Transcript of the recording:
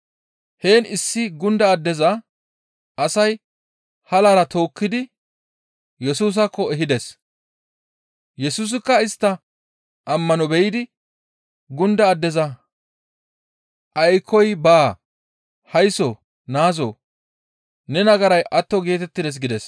Heen issi gunda addeza, asay halara tookkidi Yesusaakko ehides. Yesusikka istta ammano be7idi gunda addeza, «Aykkoy baa; haysso naazoo! Ne nagaray atto geetettides» gides.